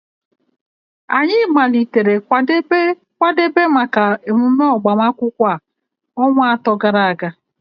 Anyị malitere kwadebe maka emume agbamakwụkwọ a ọnwa atọ gara aga